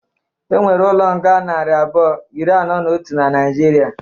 Enwere ụlo nga nari abụọ, ịrị anọ na ọtu na Naijịrị